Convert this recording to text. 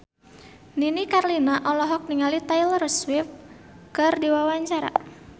Nini Carlina olohok ningali Taylor Swift keur diwawancara